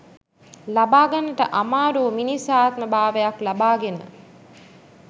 ලබාගන්නට අමාරුවූ මිනිස් ආත්ම බාවයක් ලබාගෙන